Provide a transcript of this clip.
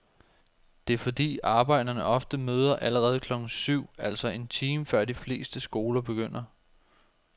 Det er fordi arbejdere ofte møder allerede klokken syv, altså en time før de fleste skoler begynder.